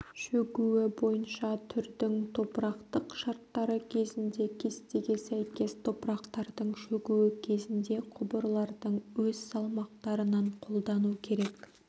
шөгуі бойынша түрдің топырақтық шарттары кезінде кестеге сәйкес топырақтардың шөгуі кезінде құбырлардың өз салмақтарынан қолдану керек